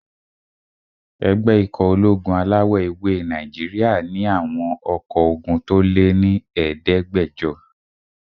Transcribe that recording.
Ẹgbẹ́ ikọ̀ ológun alawọ̀-ewé Nàìjíríyà àwọn ọkọ́ ogun tó lé ní ẹ̀ẹ́dẹ́gbàjọ